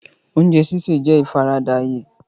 Oúnjẹ sísè jẹ́ ìfaradà ayé.